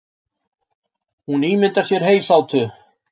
Hún ímyndar sér heysátu.